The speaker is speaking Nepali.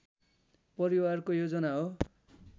परिवारको योजना हो